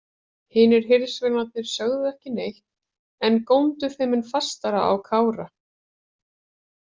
Hinir hirðsveinarnir sögðu ekki neitt en góndu þeim mun fastar á Kára.